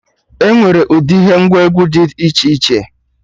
Enwere ụdị ihe ngwa egwu Did iche iche